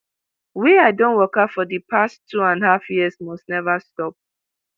wey i don waka for di past two and half years must neva stop